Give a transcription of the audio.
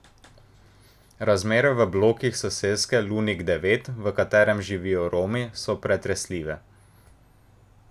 Razmere v blokih soseske Lunik devet, v katerih živijo Romi, so pretresljive.